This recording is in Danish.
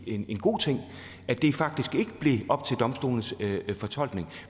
en god ting at det faktisk ikke blev op til domstolenes fortolkning